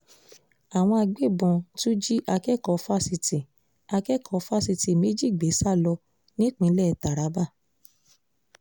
àwọn agbébọ̀n tún jí akẹ́kọ̀ọ́ fásitì akẹ́kọ̀ọ́ fásitì méjì gbé sá lọ nípínlẹ̀ taraba